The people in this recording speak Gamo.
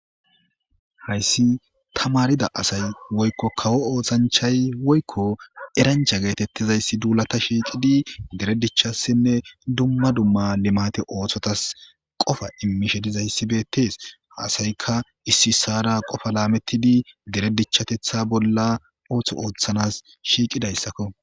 Hayssi ta maarida asay woykko kawo oothanchay woykko erancha geetettizayssi duulata shiiqidi dere dichassinne dumma dumma limate oothotas qofa immishe dizayssi beettes haasayka issi ssaara qofa laamettidi dere dichatetha bolla ooththo ooththanas shiiqidayssakko